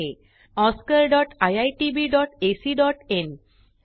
oscariitbacइन and spoken tutorialorgnmeict intro